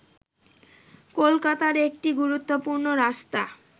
কলকাতার একটি গুরুত্বপূর্ণ রাস্তা